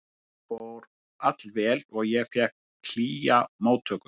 Þetta fór allt vel og ég fékk hlýja móttöku.